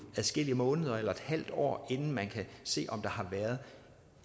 adskillige måneder eller et halvt år inden man kan se om der har været